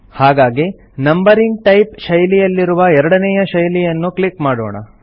ಹಾಗಾಗಿ numbering type ಶೈಲಿಯಲ್ಲಿರುವ ಎರಡನೇಯ ಶೈಲಿಯನ್ನು ಕ್ಲಿಕ್ ಮಾಡೋಣ